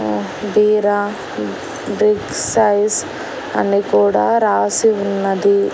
ఉ బీరా big size అని కూడా రాసి ఉన్నది.